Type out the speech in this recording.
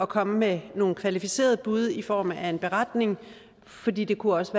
komme med nogle kvalificerede bud i form af en beretning fordi det også